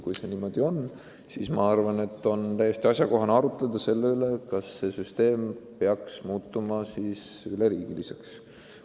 Kui see niimoodi on, siis on minu arvates täiesti asjakohane arutada, kas süsteem peaks muutuma üleriigiliseks.